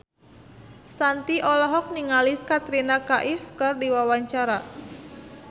Shanti olohok ningali Katrina Kaif keur diwawancara